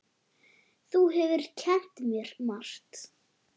Þú hefur kennt mér margt.